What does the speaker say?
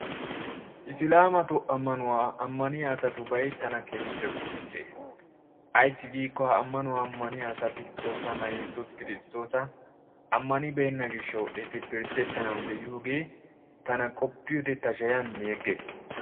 Islaamatu amanuwa amaniya asatubay tana keehiippe qofissees ayssi giikko ha amanuwa amaniya asati xoossaana yeesus kirstoosa amanibeenna gishawu etti piedettanawu deiyoogee tana qoppiyode ta shayan meeggees.